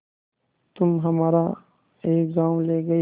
तुम हमारा एक गॉँव ले गये